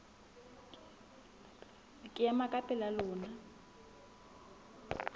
ke ema ka pela lona